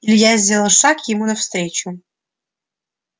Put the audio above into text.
илья сделал шаг ему навстречу